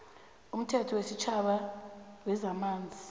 umthetho wesitjhaba wezamanzi